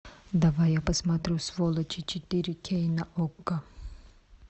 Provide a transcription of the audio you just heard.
давай я посмотрю сволочи четыре кей на окко